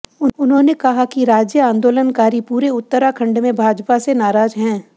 उन्होंने कहा कि राज्य आंदोलन कारी पूरे उत्तराखंड में भाजपा से नाराज हैं